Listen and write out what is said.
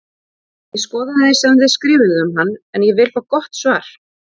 Ég skoðaði sem þið skrifuðuð um hann en ég vil fá gott svar!